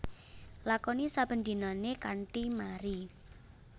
Lakoni saben dinané kanthi mari